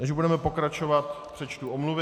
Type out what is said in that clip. Než budeme pokračovat, přečtu omluvy.